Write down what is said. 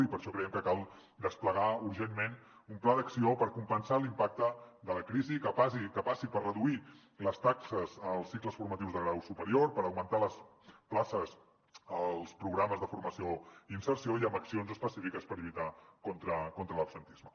i per això creiem que cal desplegar urgentment un pla d’acció per compensar l’impacte de la crisi que passi per reduir les taxes als cicles formatius de grau superior i per augmentar les places als programes de formació i inserció i amb accions específiques per lluitar contra l’absentisme